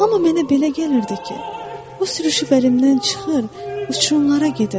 Amma mənə belə gəlirdi ki, o sürüşüb əlimdən çıxır, uçurumlara gedir.